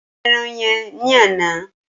Ṣé o yan ẹran yen ní àná?